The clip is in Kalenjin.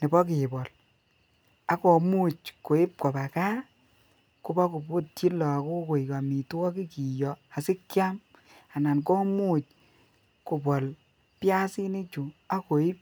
nebo kebol a komuch koib koba gaa kobokobutyi lokok koik omitwokik kiyoe asikiam anan komuch kobol piasinik chuu ak koib